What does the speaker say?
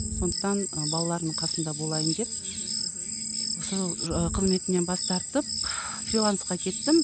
сондықтан ы балаларымның қасында болайын деп осы қызметімнен бас тартып ы фрилансқа кеттім